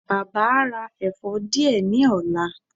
Baba a ra ẹfọ diẹ ni ọla